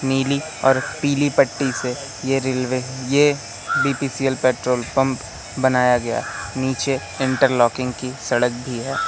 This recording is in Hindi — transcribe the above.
नीली और पीली पट्टी से ये रेलवे ये बी_पी_सी_एल पेट्रोल पंप बनाया गया नीचे इंटरलॉकिंग की सड़क भी है।